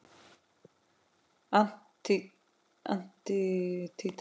Antígva og Barbúda